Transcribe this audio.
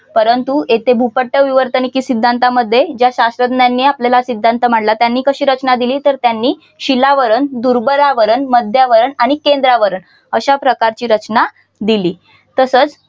परंतु इथे भूपट्ट विवर्तनिकी सिद्धांतामध्ये या शास्त्रज्ञांनी आपल्याला सिद्धांत मांडला त्यांनी कशी रचना दिली तर त्यांनी शिलावरण दुर्बलावरण मध्यावरण आणि केंद्रावरन अशा प्रकारची रचना दिली. तसच